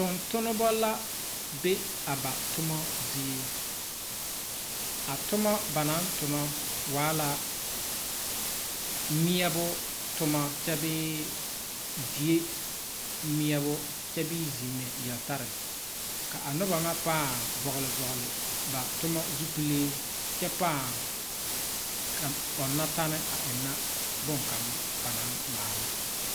Tontonema la be a ba toma zie a toma ba naŋ tona waala meɛbo toma kyɛbee die meɛbo kyɛbee zimɛ yeltare ka a noba ŋa paa vɔgle ba toma zupile kyɛ paa ɔŋna tɛne eŋna bonkaŋ ba naŋ maala.